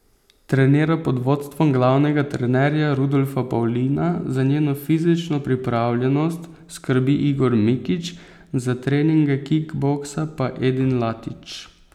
Trenira pod vodstvom glavnega trenerja Rudolfa Pavlina, za njeno fizično pripravljenost skrbi Igor Mikić, za treninge kikboksa pa Edin Latič.